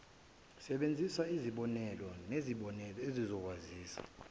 sebenzisaizibonelo nezibonelo ezizokwaziwa